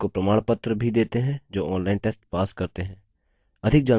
उनको प्रमाणपत्र भी देते हैं जो online test pass करते हैं